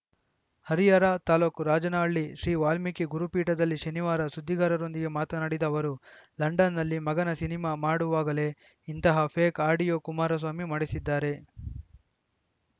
ಹರಿಹರ ತಾಲೂಕ್ ರಾಜನಹಳ್ಳಿ ಶ್ರೀವಾಲ್ಮೀಕಿ ಗುರುಪೀಠದಲ್ಲಿ ಶನಿವಾರ ಸುದ್ದಿಗಾರರೊಂದಿಗೆ ಮಾತನಾಡಿದ ಅವರು ಲಂಡನ್‌ನಲ್ಲಿ ಮಗನ ಸಿನಿಮಾ ಮಾಡುವಾಗಲೇ ಇಂತಹ ಫೇಕ್‌ ಆಡಿಯೋ ಕುಮಾರಸ್ವಾಮಿ ಮಾಡಿಸಿದ್ದಾರೆ